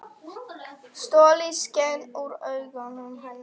Stoltið skein úr augum hennar.